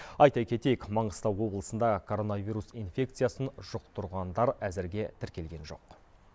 айта кетейік маңғыстау облысында коронавирус инфекциясын жұқтырғандар әзірге тіркелген жоқ